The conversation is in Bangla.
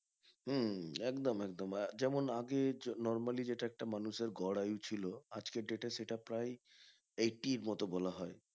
হম হম একদম একদম যেমন আগে normally যেটা একটা মানুষের গড় আয়ু ছিল আজকের date এ যেটা প্রায় eighty এর মতো বলা হয়